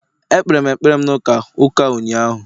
Ekpere m ekpere m na Ụka ụka ụnyahụ